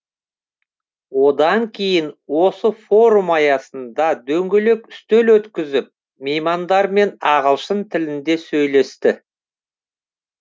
одан кейін осы форум аясында дөңгелек үстел өткізіп меймандармен ағылшын тілінде сөйлесті